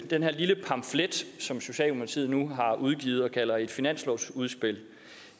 den her lille pamflet som socialdemokratiet nu har udgivet og kalder et finanslovsudspil